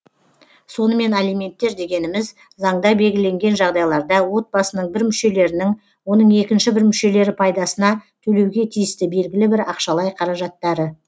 сонымен алименттер дегеніміз заңда белгіленген жағдайларда отбасының бір мүшелерінің оның екінші бір мүшелері пайдасына төлеуге тиісті белгілі бір ақшалай қаражаттары